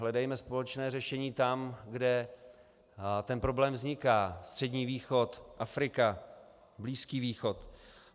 Hledejme společné řešení tam, kde ten problém vzniká - Střední východ, Afrika, Blízký východ.